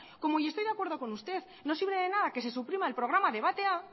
como yo estoy de acuerdo con usted no sirve de nada que se suprima el programa debatea